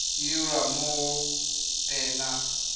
e dirwa mo go ena